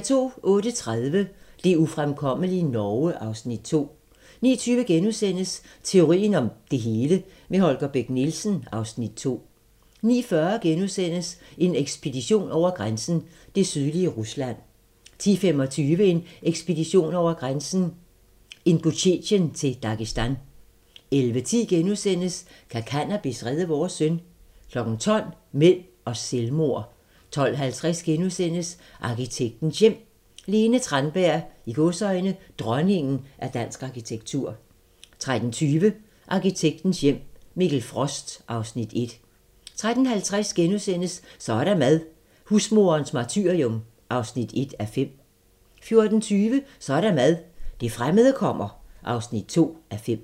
08:30: Det ufremkommelige Norge (Afs. 2) 09:20: Teorien om det hele - med Holger Bech Nielsen (Afs. 2)* 09:40: En ekspedition over grænsen: Det sydlige Rusland * 10:25: En ekspedition over grænsen: Ingusjetien til Dagestan 11:10: Kan cannabis redde vores søn? * 12:00: Mænd og selvmord 12:50: Arkitektens Hjem: Lene Tranberg - "Dronningen af dansk arkitektur" * 13:20: Arkitektens hjem - Mikkel Frost (Afs. 1) 13:50: Så er der mad - Husmoderens martyrium (1:5)* 14:20: Så er der mad - det fremmede kommer (2:5)